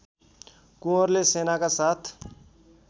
कुँवरले सेनाका साथ